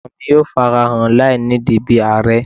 Ọmọ mi yoo farahan lainidi bi aarẹ